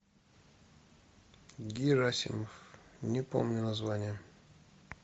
герасимов не помню название